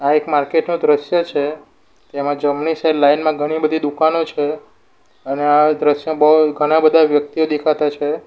આ એક માર્કેટ નો દ્રશ્ય છે જેમાં જમણી સાઈડ લાઈન માં ઘણી બધી દુકાનો છે અને આ દ્રશ્યમાં બો ઘણા બધા વ્યક્તિઓ દેખાતા છે.